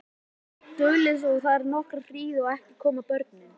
Duldist ég þar nokkra hríð en ekki komu börnin.